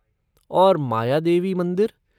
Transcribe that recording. और मायादेवी मंदिर?